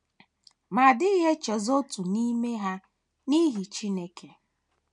ma a dịghị echezọ otu n’ime ha n’ihu Chineke.